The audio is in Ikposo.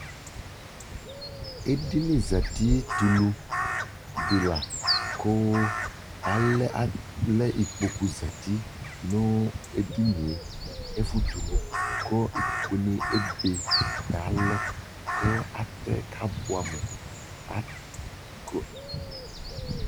ɛdinizati tʋlʋ dila kʋ alɛ ikpɔkʋ zati nʋ ɛdiniɛ, ɛƒʋ tʋlʋ kʋikpɔkʋ ni ɛbɛ kʋ alɔ kʋ atɛ kʋ abʋamʋ